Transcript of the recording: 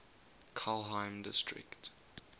kelheim district